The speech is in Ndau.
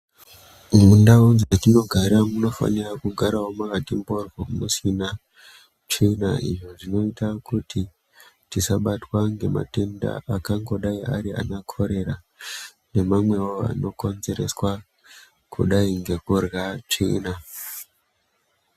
Mundau dzatinogara munofanawo kugara Makati mhoryo musina tsvina izvo zvinoita kuti tisabatwa nematenda akangodai ana korera nemamwewo anokonzereswa kudai ngekurya tsvina.